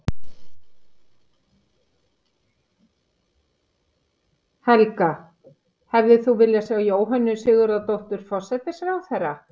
Helga: Hefðir þú viljað sjá Jóhönnu Sigurðardóttur, forsætisráðherra?